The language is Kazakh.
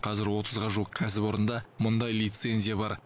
қазір отызға жуық кәсіпорында мұндай лицензия бар